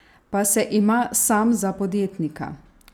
Pa se ima sam za podjetnika?